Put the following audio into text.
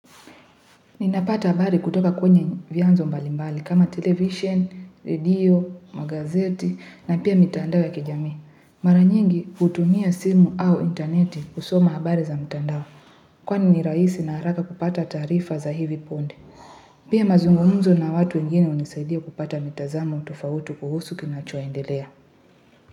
Ninapata habari kutoka kwenye vyanzo mbalimbali kama television, radio, magazeti na pia mitandao ya kijamii Mara nyingi hutumia simu au interneti kusoma habari za mitandao. Kwani ni rahisi na haraka kupata taarifa za hivi punde. Pia mazungumuzo na watu wengine hunisaidia kupata mitazamo tofauti kuhusu kinacho endelea.